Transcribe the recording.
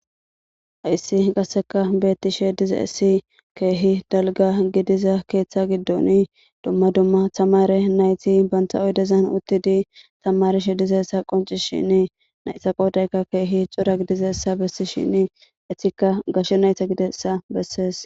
Haissi qasseka beetti shediza essi keehi dalga gidiza keeththa giddon dumma dumma tamare nayti banta oydezan uttidi tamare shedizessa qonci shini naytha qoodayka keehi cura gidizessa bessi shini etikka gashe nayta gidessa bessees.